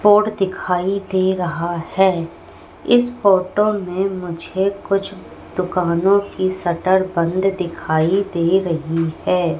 और दिखाई दे रहा है इस फोटो में मुझे कुछ दुकानों की शटर बंद दिखाई दे रही है।